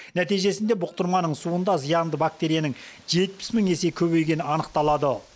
нәтижесінде бұқтырманың суында зиянды бактерияның жетпіс мың есе көбейгені анықталады